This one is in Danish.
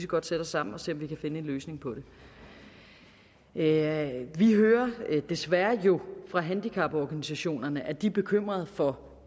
godt sætte os sammen og se om vi kan finde en løsning på det vi hører jo desværre fra handicaporganisationerne at de er bekymrede for